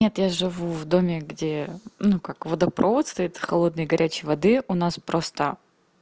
нет я живу в доме где ну как водопровод стоит холодной горячей воды у нас просто